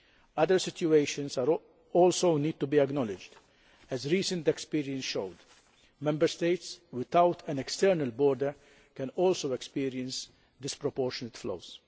Other situations also need to be acknowledged as recent experience showed, Member States without an external border can also experience disproportionate flows.